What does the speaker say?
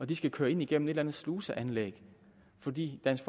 de skal køre ind igennem et eller andet sluseanlæg fordi dansk